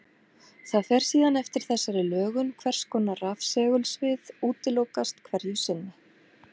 Það fer síðan eftir þessari lögun hvers konar rafsegulsvið útilokast hverju sinni.